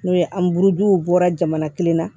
N'o ye an buruduw bɔra jamana kelen na